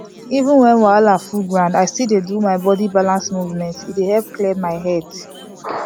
even when wahala full ground i still dey do my body balance movement e dey clear my head